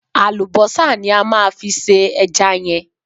Àlùbọ́sà ní a máa fi se ẹja yẹn.